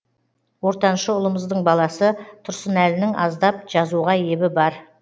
ортаншы ұлымыздың баласы тұрсынәлінің аздап жазуға ебі бар